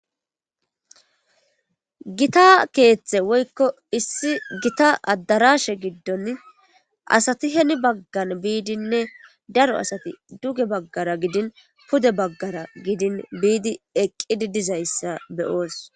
Gita keethe woykko issi gita adarshe gidon asati heni baggan biidinne daro asati duge baggara gidin pude baggara gidin biidi eqqidi dizayssa be'os.